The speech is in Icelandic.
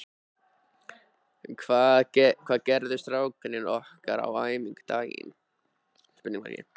Hvað gerðu strákarnir okkar á æfingu dagsins?